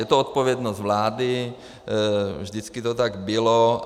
Je to odpovědnost vlády, vždycky to tak bylo.